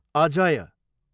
Ajay